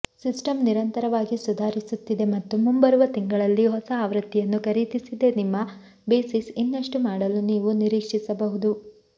system ನಿರಂತರವಾಗಿ ಸುಧಾರಿಸುತ್ತಿದೆ ಮತ್ತು ಮುಂಬರುವ ತಿಂಗಳಲ್ಲಿ ಹೊಸ ಆವೃತ್ತಿಯನ್ನು ಖರೀದಿಸದೆ ನಿಮ್ಮ ಬೇಸಿಸ್ ಇನ್ನಷ್ಟು ಮಾಡಲು ನೀವು ನಿರೀಕ್ಷಿಸಬಹುದು